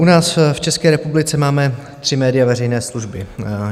U nás v České republice máme tři média veřejné služby.